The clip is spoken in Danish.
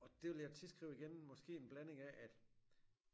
Og det ville jeg tilskrive igen måske en blanding af at